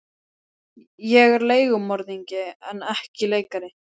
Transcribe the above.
Ég er leigumorðingi en ekki leikari.